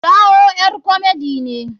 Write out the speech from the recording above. Taiwo ƴar komedi ne.